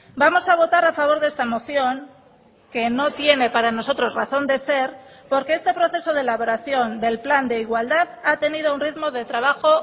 vamos a votar a favor de esta moción que no tiene para nosotros razón de ser porque este proceso de elaboración del plan de igualdad ha tenido un ritmo de trabajo